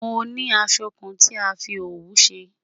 Mo ni àsọ̀ kàn tí a fi ọwù ṣẹ